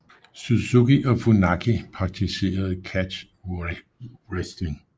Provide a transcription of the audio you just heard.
Suzuki og Funaki praktiserede catch wrestling